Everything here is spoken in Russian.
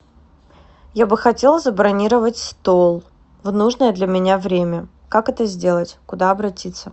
я бы хотела забронировать стол в нужное для меня время как это сделать куда обратиться